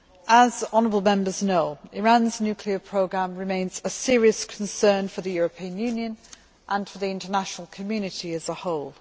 As honourable Members know, Iran's nuclear programme remains a serious concern for the European Union and for the international community as a whole.